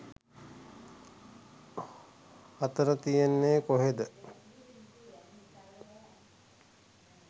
අතන කියන්නේ කොහෙද